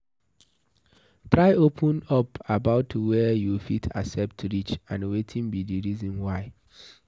Try open up about were you fit accept reach and wetin be di reason why